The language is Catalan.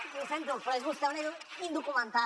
i ho sento però és vostè una indocumentada